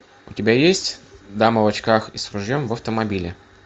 у тебя есть дама в очках и с ружьем в автомобиле